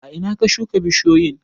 A ina ka shuka bishiyoyin?